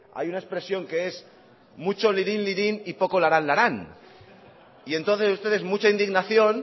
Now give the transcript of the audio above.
hay una expresión que es mucho lirín lirín y poco larán larán y entonces ustedes mucha indignación